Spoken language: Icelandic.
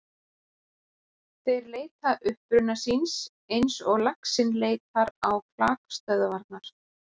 Þeir leita uppruna síns eins og laxinn leitar á klakstöðvarnar.